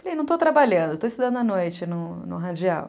Falei, não estou trabalhando, estou estudando à noite no no radial.